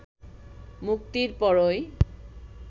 মুক্তির পরই